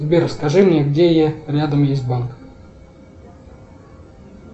сбер скажи мне где рядом есть банк